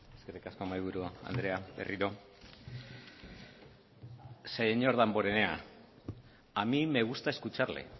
eskerrik asko mahaiburu andrea berriro señor damborenea a mí me gusta escucharle